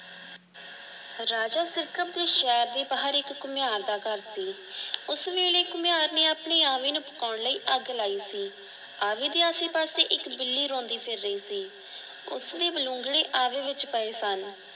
ਰਾਜਾ ਸਿਰਕਤ ਦੇ ਸ਼ਹਿਰ ਦੇ ਬਾਹਰ ਇਕ ਘੁਮਿਆਰ ਦਾ ਘਰ ਸੀ। ਉਸ ਵੇਲੇ ਘੁਮਿਆਰ ਨੇ ਆਪਣੀ ਆਵੀ ਨੂੰ ਪਕੋਨ ਲਈ ਅੱਗ ਲਾਈ ਸੀ। ਆਵੀ ਦੇ ਆਸੇ ਪਾਸੇ ਇੱਕ ਬਿੱਲੀ ਰੋਂਦੀ ਫਿਰ ਰਹੀ ਸੀ। ਉਸਦੇ ਬਲੂੰਗੜੇ ਆਵੀ ਵਿੱਚ ਪਏ ਸਨ।